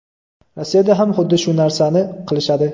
Rossiyada ham xuddi shu narsani qilishadi.